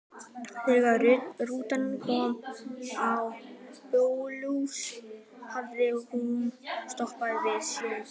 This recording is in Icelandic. Þegar rútan kom á Blönduós hafði hún stoppað við sjoppu.